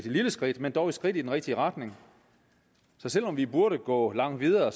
lille skridt men dog et skridt i den rigtige retning så selv om vi burde gå langt videre